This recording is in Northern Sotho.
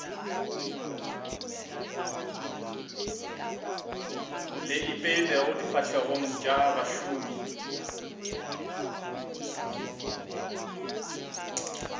le ipeilego difahlegong tša bašomi